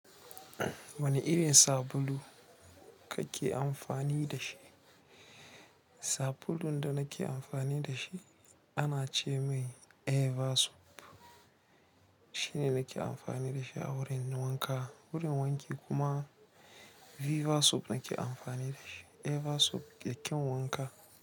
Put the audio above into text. Wane irin sabulu kake amfani da shi? Sabulun danake amfani dashi anace mai eva soap gurin wanki kuma Viva soap nake amfani da shi. Eve soap ke kyan wanka.